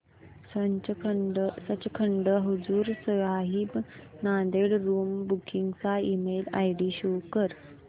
Sachkhand Hazur Sahib Nanded room booking चा email ID show कर